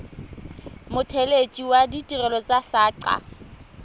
mothelesi wa ditirelo tsa saqa